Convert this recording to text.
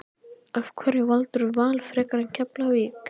Af hverju valdirðu Val frekar en Keflavík?